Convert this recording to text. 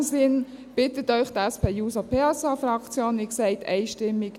In diesem Sinn bittet Sie die SP-JUSO-PSA-Fraktion, wie gesagt einstimmig: